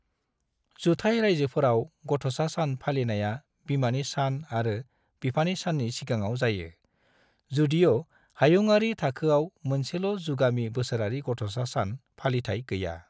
जुथाइ रायजोफोराव गथ'सा सान फालिनाया बिमानि सान आरो बिफानि साननि सिगाङाव जायो, जदिय' हायुंयारि थाखोआव मोनसेल' जुगामि बोसोरारि गथ'सा सान फालिथाय गैया ।